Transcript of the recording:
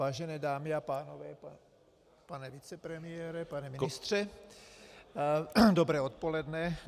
Vážené dámy a pánové, pane vicepremiére, pane ministře, dobré odpoledne.